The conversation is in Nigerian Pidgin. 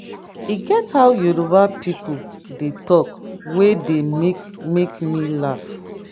e get how yoruba people dey talk wey dey make make me laugh